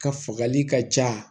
Ka fagali ka ca